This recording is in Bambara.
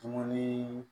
Dumuni